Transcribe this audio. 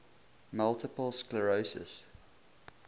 multiple sclerosis